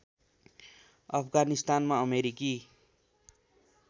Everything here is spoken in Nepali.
अफगानिस्तानमा अमेरिकी